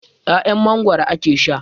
'Ya'yan Mangwaro ake sha.